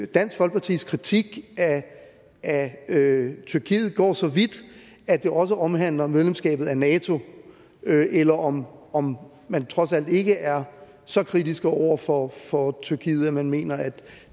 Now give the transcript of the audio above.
dansk folkepartis kritik af tyrkiet går så vidt at det også omhandler medlemskabet af nato eller om om man trods alt ikke er så kritisk over for for tyrkiet at man mener at